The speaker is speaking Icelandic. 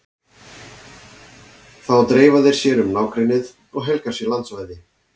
Þá dreifa þeir sér um nágrennið og helga sér landsvæði.